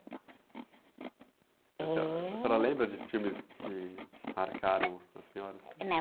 Eh... senhora, a senhora lembra de filmes que marcaram a senhora, assim?h,